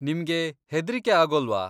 ನಿಮ್ಗೆ ಹೆದ್ರಿಕೆ ಆಗೊಲ್ವಾ?